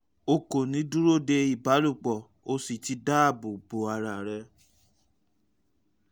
o kò ní dúró de ìbálòpọ̀ o sì ti dáàbò bo ara rẹ